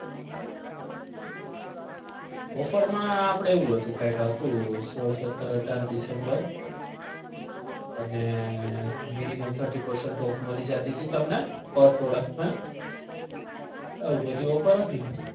offer માં આપડે એવું હતું કાઈક હતું સોળ સતર અઢાર december અને minimum thirty percent off મળી જતી હતી તમને per product પર આવી બધી offer હતી.